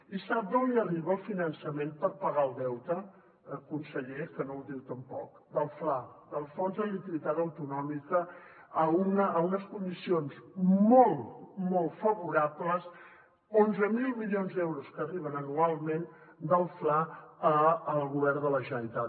i sap d’on li arriba el finançament per pagar el deute conseller que no ho diu tampoc del fla del fons de liquiditat autonòmic en unes condicions molt molt favorables onze mil milions d’euros que arriben anualment del fla al govern de la generalitat